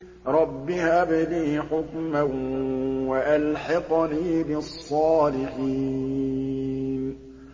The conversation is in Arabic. رَبِّ هَبْ لِي حُكْمًا وَأَلْحِقْنِي بِالصَّالِحِينَ